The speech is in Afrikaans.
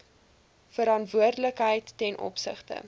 verantwoordelikheid ten opsigte